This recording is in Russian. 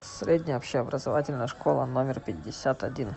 средняя общеобразовательная школа номер пятьдесят один